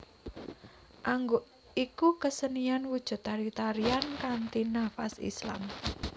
Angguk iku kasenian wujud tari tarian kanthi nafas Islam